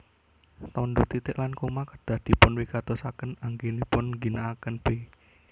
Tandha titik lan koma kedah dipunwigatosaken anggenipun ngginakaken b